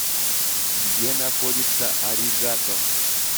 где находится аригатор